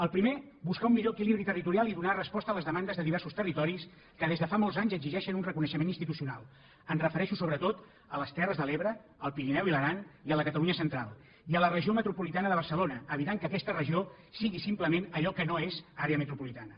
el primer buscar un millor equilibri territorial i donar resposta a les demandes de diversos territoris que des de fa molts anys exigeixen un reconeixement institucional em refereixo sobretot a les terres de l’ebre al pirineu i l’aran i a la catalunya central i a la regió metropolitana de barcelona evitant que aquesta regió sigui simplement allò que no és àrea metropolitana